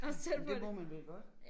Men det må man vel godt